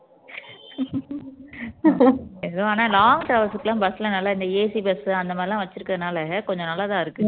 ஏதோ ஆனா long travels க்கு எல்லாம் நல்லா இந்த AC bus அந்த மாதிரியெல்லாம் வச்சுருக்கதுனால கொஞ்சம் நல்லதா இருக்கு